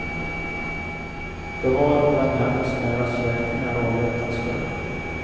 Det var den hennes nära släktingar avrättats för.